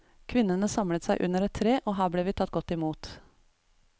Kvinnene samlet seg under et tre, og her ble vi tatt godt i mot.